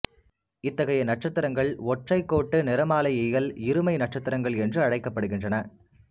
இத்தகைய நட்சத்திரங்கள் ஒற்றைக் கோட்டு நிறமாலையியல் இருமை நட்சத்திரங்கள் என்று அழைக்கப்படுகின்றன